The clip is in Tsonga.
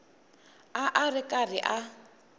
a a ri karhi a